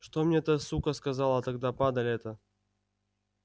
что мне эта сука сказала тогда падаль эта